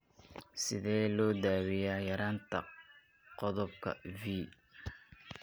Sidee loo daweeyaa yaraanta qodobka V?